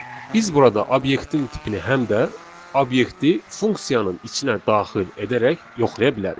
Biz burada obyektin tipini həm də obyekti funksiyanın içinə daxil edərək yoxlaya bilərik.